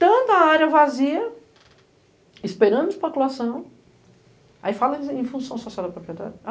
Tanta área vazia, esperando de população, aí falam em função social do proprietário.